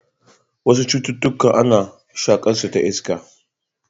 Wasu cutukan ana shaƙarsu ta iska.